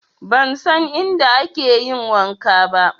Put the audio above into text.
Ban san inda ake yin wanka ba